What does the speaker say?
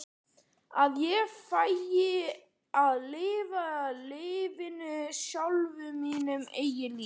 Að ég færi að lifa lífinu sjálf, mínu eigin lífi?